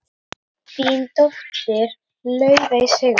Þín dóttir, Laufey Sigrún.